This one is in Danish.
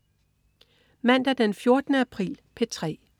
Mandag den 14. april - P3: